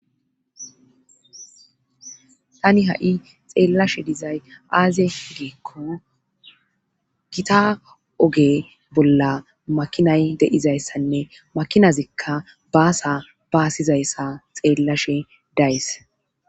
Tani ha7i xeellashe dizay aaziye giikko gita oge bolla makinay deizayssanne makinazikka baasa baasizayssa xeellashe days